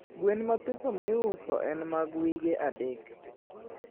gwen mathiso miuso en mag wige adek